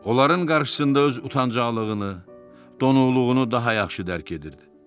Onların qarşısında öz utancaqlığını, donuqluğu daha yaxşı dərd edirdi.